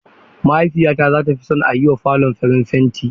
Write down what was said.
Mahaifiyata zata fi son a yiwa falon farin fenti.